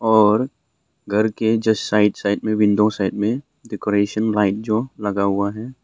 और घर के जस्ट साइड साइड में विंडो साइड में डेकोरेशन लाइट जो लगा हुआ है।